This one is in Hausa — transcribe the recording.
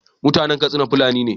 mutAnan Katsina fulani ne